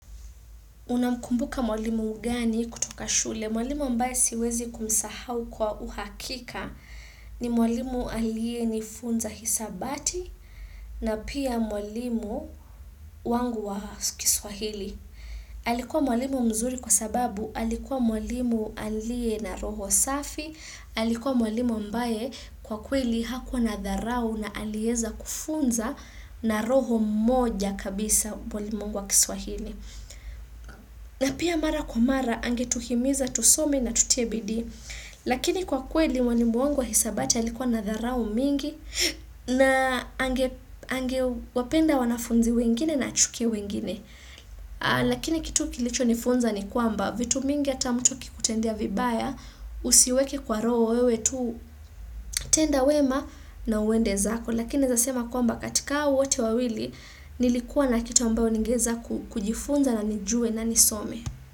Unamkumbuka mwalimu gani kutoka shule? Mwalimu ambaye siwezi kumsahau kwa uhakika ni mwalimu alienifunza hisabati na pia mwalimu wangu wa kiswahili. Alikuwa mwalimu mzuri kwa sababu alikuwa mwalimu alie na roho safi, alikuwa mwalimu ambaye kwa kweli hakuwa na dharau na alieza kufunza na roho moja kabisa mwalimu wangu wa kiswahili. Na pia mara kwa mara, angetuhimiza, tusome na tutie bidii, lakini kwa kweli mwalimu wangu wa hisabati alikuwa na dharau mingi, na angewapenda wanafunzi wengine na achukie wengine. Lakini kitu kilichonifunza ni kwamba vitu mingi ata mtu akikutendia vibaya usiweke kwa roho wewe tu tenda wema na uende zako. Lakini naeza sema kwamba katika hao wote wawili nilikuwa na kitu ambayo ningeweza kujifunza na nijue na nisome.